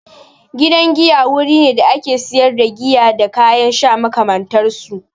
Gidan giya wuri ne da ake sayar da giya da kayan sha makamantar su.